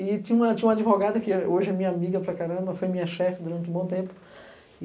E tinha tinha uma advogada, que hoje é minha amiga para caramba, foi minha chefe durante um bom tempo.